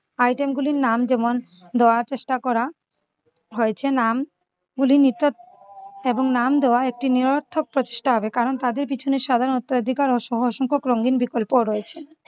item গুলির নাম যেমন দেওয়ার চেষ্টা করা হয়েছে নাম গুলি নিকট এবং নাম দেওয়া একটি নিরর্থক প্রতিষ্ঠা হবে কারণ তাদের পিছনে সাধারণত অধিকার ও সহ অসংখ্য রঙ্গিন বিকল্পও রয়েছে।